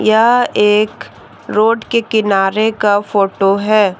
यह एक रोड के किनारे का फोटो है।